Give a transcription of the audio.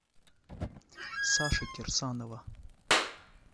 саши кирсанова